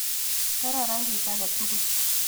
Kararan kit age tugul